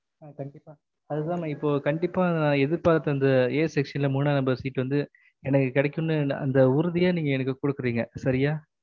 ஆஹ் கண்டிப்பா அதுதான் எதிபாத்த a section ல மூனா number seat வந்து எனக்கு கிடைக்கும்னு அந்த உறுத்திய நீங்க எனக்கு குடுக்குறிங்க சரிய